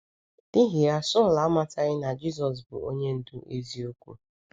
N’ihi ya, Saulu amataghị na Jisọs bụ onye ndu eziokwu.